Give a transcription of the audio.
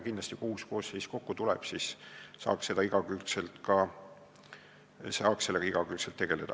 Kindlasti, kui uus koosseis kokku tuleb, siis saab sellega igakülgselt tegeleda.